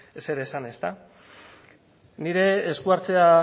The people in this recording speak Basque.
zer esan ezta nire esku hartzea